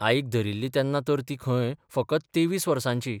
आईक धरिल्ली तेन्ना तर ती खंय फकत 23 बर्साची.